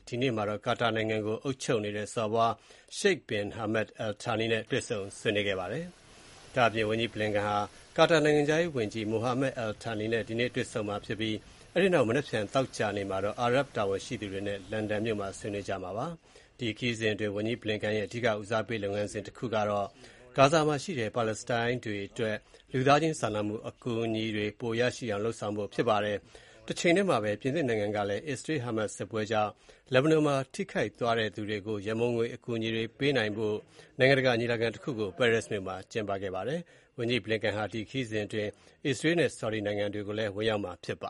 ဒီနေ့မှာတော့ ကာတာနိုင်ငံကို အုပ်ချုပ်နေတဲ့ စော်ဘွား Sheikh bin Hamad Al Thani နဲ့ တွေ့ဆုံခဲ့ပါတယ်။ ဒါ့အပြင် ဝန်ကြီးဘလင်ကန်ဟာ ကာတာနိုင်ငံခြားရေးဝန်ကြီး Mohammed Al Thani နဲ့ ဒီနေ့ တွေ့ဆုံသွားမှာဖြစ်ပြီး အဲဒီနောက် မနက်ဖြန် သောကြာနေ့မှာတော့ အာရပ်တာဝန်ရှိသူတွေနဲ့ လန်ဒန်မြို့မှာ ဆွေးနွေးကြမှာဖြစ်ပါတယ်။ ဒီခရီးစဉ်အတွင်း ဝန်ကြီးဘလင်ကန်ရဲ့ အဓိကဦးစားပေးလုပ်ငန်းစဉ်တခုကတော့ ဂါဇာမှာရှိတဲ့ ပါလက်စတိုင်းတွေအတွက် လူသားချင်းစာနာမှု အကူအညီတွေ ပိုမိုရရှိအောင်လုပ်ဆောင်ဖို့ဖြစ်ပါတယ်။ တချိန်တည်းမှာပဲ ပြင်သစ်နိုင်ငံကလည်း အစ္စရေး-ဟားမတ်စ်စစ်ပွဲကြောင့် လက်ဘနွန်မှာထိခိုက်သွားတဲ့သူတွေကို ရံပုံငွေအကူအညီတွေပေးနိုင်ဖို့အတွက် နိုင်ငံတကာညီလာခံတခုကို ပဲရစ်မြို့မှာ ဒီနေ့ကျင်းပခဲ့ပါတယ်။ ဝန်ကြီးဘလင်ကန်ဟာ ဒီခရီးစဉ်အတွင်း အစ္စရေးလ်နဲ့ ဆော်ဒီနိုင်ငံတွေကိုလည်း ဝင်ရောက်မှာဖြစ်ပ